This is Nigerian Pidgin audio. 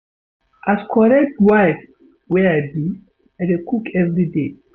As correct wife material wey I be, I dey cook everyday.